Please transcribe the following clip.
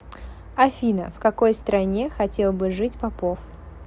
афина в какой стране хотел бы жить попов